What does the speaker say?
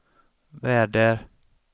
väder